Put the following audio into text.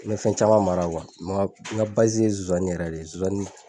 N ye fɛn caman mara . N ka ye nsosanni yɛrɛ de ye nsonsani.